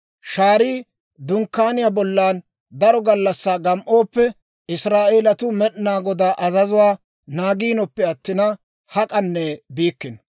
Shaarii Dunkkaaniyaa bollan daro gallassaa gam"ooppe, Israa'eelatuu Med'inaa Godaa azazuwaa naagiinoppe attina, hak'anne biikkino.